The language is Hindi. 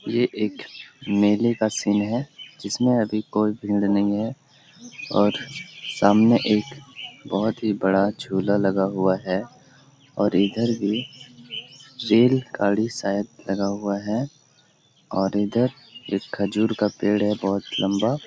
ये एक मेले का सीन है जिसमे अभी कोई भीड़ नहीं है और सामने एक बहुत ही बड़ा झूला लगा हुआ है और इधर भी रेल गाड़ी सायद लगा हुआ है और इधर एक खजूर का पेड़ है बहुत लम्बा --